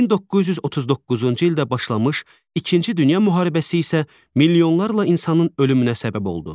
1939-cu ildə başlamış İkinci Dünya müharibəsi isə milyonlarla insanın ölümünə səbəb oldu.